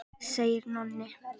segir Nonni.